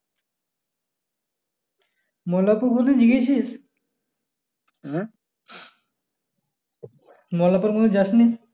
মোল্লারপুর কোন দিন গিয়েছিস মোল্লারপুর কোন দিন যাসনি